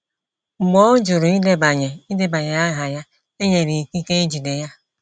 Mgbe ọ jụrụ idebanye idebanye aha ya, e nyere ikike ịjide ya.